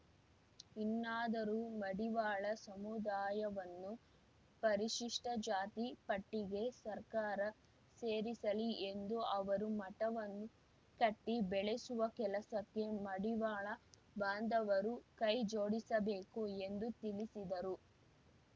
ಇನ್ನಾದರೂ ಮಡಿವಾಳ ಸಮುದಾಯವನ್ನು ಪರಿಶಿಷ್ಟಜಾತಿ ಪಟ್ಟಿಗೆ ಸರ್ಕಾರ ಸೇರಿಸಲಿ ಎಂದು ಅವರು ಮಠವನ್ನು ಕಟ್ಟಿ ಬೆಳೆಸುವ ಕೆಲಸಕ್ಕೆ ಮಡಿವಾಳ ಬಾಂಧವರು ಕೈ ಜೋಡಿಸಬೇಕು ಎಂದು ತಿಳಿಸಿದರು